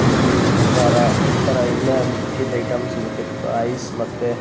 sweet ಕಾರ ಈ ತರ ಎಲ್ಲ ಮಿಕ್ಕಿದ್ ಐಟಮ್ ಸಿಗುತ್ತೆ ಐಸ್ ಮತ್ತೆ --